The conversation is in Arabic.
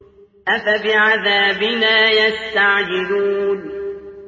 أَفَبِعَذَابِنَا يَسْتَعْجِلُونَ